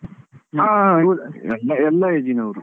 ಹಾ ಎಲ್ಲಾ age ಈ ನವರು.